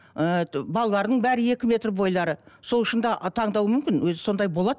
ы балалардың бәрі екі метр бойлары сол үшін де таңдауы мүмкін өзі сондай болады